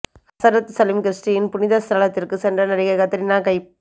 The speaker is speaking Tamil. ஹசரத் சலீம் கிரிஷ்டியின் புனித ஸ்தலத்திற்கு சென்ற நடிகை கத்ரீனா கைப்